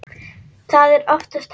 Það er oftast hægt.